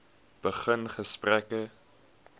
begin gesprekke